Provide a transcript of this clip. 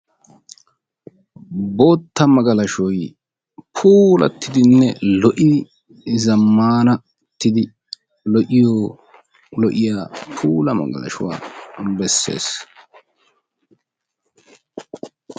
bootta magalashoy puulattidinna lo'idi zammaanattidi lo'iyoo lo'iya puula magalashuwa besses.